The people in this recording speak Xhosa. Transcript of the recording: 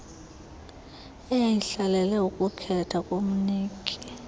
eyayihlalele ukukhethwa komniki